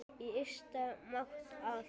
Í Ystabæ mátti allt.